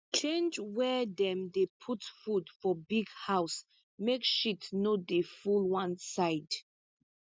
change where dem dey put food for big house make shit no dey full one side